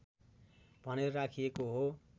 भनेर राखिएको हो